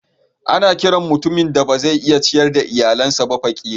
Ana kiran mutumin da ba zai iya ciyar da iyalinsa ba kafiri.